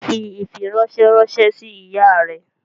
Fi ifiranṣẹ ranṣẹ si iya rẹ!